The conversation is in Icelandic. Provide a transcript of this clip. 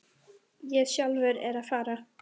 Ég er sjálfur að fara.